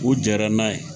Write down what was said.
U jɛnna n'a ye